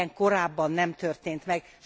Ilyen korábban nem történt meg.